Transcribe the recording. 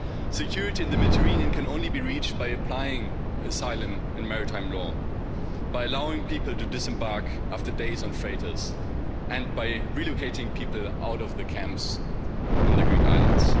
Security in the Mediterranean can only be reached by applying asylum and maritime law, by allowing people to disembark after days on freighters and by relocating people out of the camps on the Greek islands.